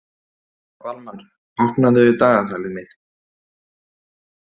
Valmar, opnaðu dagatalið mitt.